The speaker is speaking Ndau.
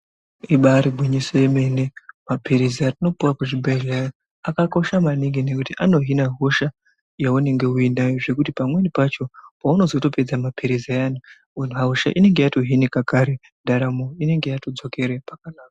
Ibari gwinyiso yemene. Maphilizi atinopuwa kuzvibhehlera akakosha maningi nekuti anohina hosha yaunenge uinayo zvekuti pamweni pacho paunozotopedza maphirizi ayani hosha inenge yatohinika kare ndaramo yatodzokere pakanaka.